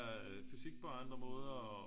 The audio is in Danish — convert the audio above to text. Fysik på andre måder og